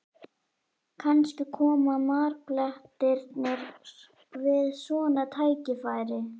Kannski koma marblettirnir við svona tækifæri?